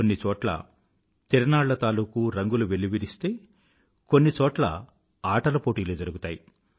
కొన్ని చోట్ల తిరనాళ్ల తాలూకూ రంగులు వెల్లివిరిస్తే కొన్ని చోట్ల ఆటల పోటీలు జరుగుతాయి